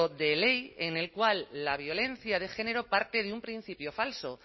de ley en el cual la violencia de género parte de un principio falso